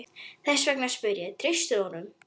Þess vegna spyr ég, treystir þú honum?